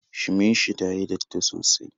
Shimin shi tayi datti sosai